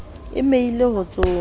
e meile ho tsoma ho